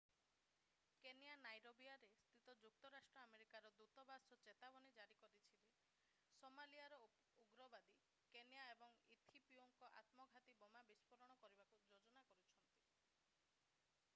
Kenya ନାଇରୋବିରେ ସ୍ଥିତ ଯୁକ୍ତରାଷ୍ଟ୍ର ଆମେରିକାର ଦୂତବାସ ଚେତାବନୀ ଜାରି କରିଛି ଯେ ସୋମାଲିଆର ଉଗ୍ରବାଦୀ କେନିଆ ଏବଂ ଇଥିଓପିଆରେ ଆତ୍ମଘାତୀ ବୋମା ବିସ୍ଫୋରଣ କରିବାକୁ ଯୋଜନା କରୁଛନ୍ତି